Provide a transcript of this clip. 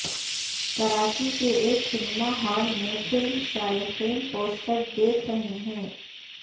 کراچی کے ایک cinema hall میں فلم شائقین پوسٹر دیکھ رہے ہیں